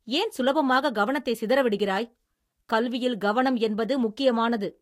ஏன் சுலபமாக கவனத்தைச் சிதற விடுகிறாய்? கல்வியில் கவனம் என்பது முக்கியமானது!